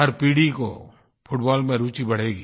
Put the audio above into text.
हर पीढ़ी की फुटबाल में रूचि बढ़ेगी